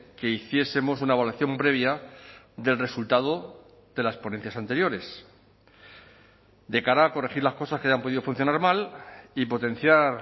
que hiciesemos una evaluación previa del resultado de las ponencias anteriores de cara a corregir las cosas que hayan podido funcionar mal y potenciar